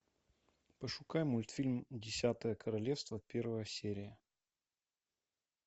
пошукай мультфильм десятое королевство первая серия